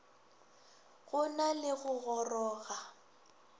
go na le go goroga